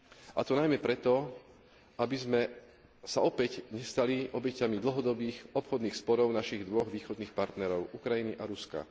A to najmä preto, aby sme sa opäť nestali obeťami dlhodobých obchodných sporov našich dvoch východných partnerov Ukrajiny a Ruska.